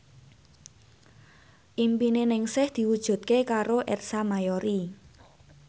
impine Ningsih diwujudke karo Ersa Mayori